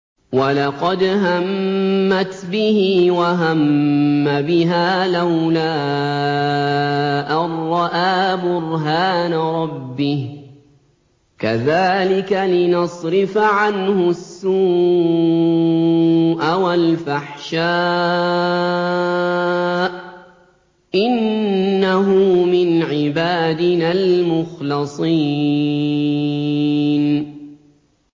وَلَقَدْ هَمَّتْ بِهِ ۖ وَهَمَّ بِهَا لَوْلَا أَن رَّأَىٰ بُرْهَانَ رَبِّهِ ۚ كَذَٰلِكَ لِنَصْرِفَ عَنْهُ السُّوءَ وَالْفَحْشَاءَ ۚ إِنَّهُ مِنْ عِبَادِنَا الْمُخْلَصِينَ